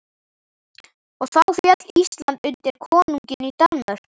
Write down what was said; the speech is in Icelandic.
Og þá féll Ísland undir konunginn í Danmörku.